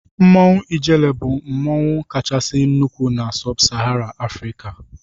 Mmanwụ ijele bụ mmanwụ kachasị nnụkwụ na-sub sahara afrika.